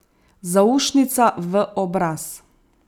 Zaušnica v obraz.